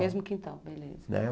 Mesmo quintal, beleza. É.